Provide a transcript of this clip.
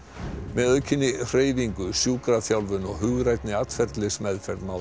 með aukinni hreyfingu sjúkraþjálfun og hugrænni atferlismeðferð má